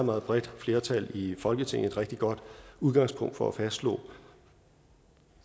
meget bredt flertal i folketinget et rigtig godt udgangspunkt for at fastslå